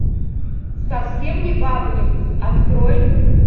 совсем не бабник открой